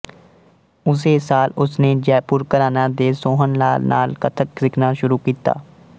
ਉਸੇ ਸਾਲ ਉਸਨੇ ਜੈਪੁਰ ਘਰਾਨਾ ਦੇ ਸੋਹਣਲਾਲ ਨਾਲ ਕਥਕ ਸਿੱਖਣਾ ਸ਼ੁਰੂ ਕੀਤਾ